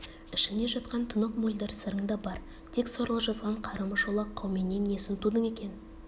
ішіңде жатқан тұнық мөлдір сырың да бар тек сорлы жазған қарымы шолақ қауменнен несін тудың екен